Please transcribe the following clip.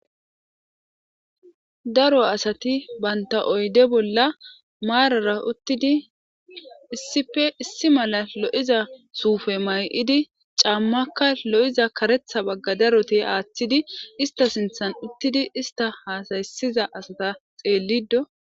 Daro asati banta oyde bolla maarara uttidi issife issi mala lo'iza suufe may'idi caammakka lo'iza karetha bagga daroti aaththidi ista sinthan uttidi ista haasaysiza asata xeellido.